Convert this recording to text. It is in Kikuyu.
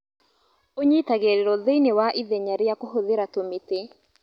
ũnyitagĩrĩrwo thĩinĩ wa ithenya rĩa kũhũthĩra tũmĩte